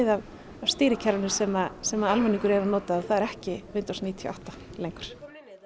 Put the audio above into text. af stýrikerfinu sem sem að almenningur er að nota og það er ekki Windows níutíu og átta lengur